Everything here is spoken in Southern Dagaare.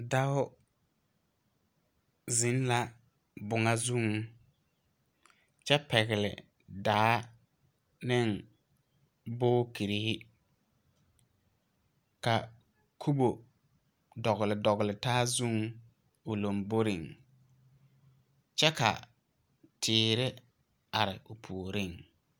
Dao zeŋ la boŋoŋ zuŋ kyɛ pɛgle daa neŋ booterrehi ka kobo dɔgle dɔgle taa zuŋ o lomboreŋ kyɛ ka teere are o puoriŋ.